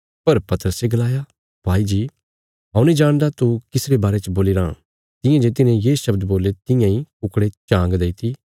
पर पतरसे गलाया भाई जी हऊँ नीं जाणदा तू किस रे बारे च बोलीराँ तियां जे तिन्हें ये शव्द बोल्ले तियां इ कुकड़े झांग देईती